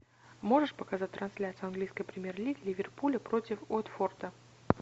можешь показать трансляцию английской премьер лиги ливерпуля против уотфорда